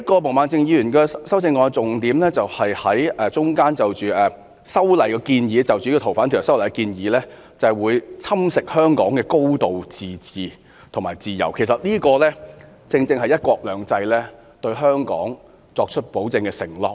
毛孟靜議員修正案的另一個重點是，她指出《逃犯條例》的修訂建議會侵蝕香港的"高度自治"及自由，而這正正是"一國兩制"對香港的保證和承諾。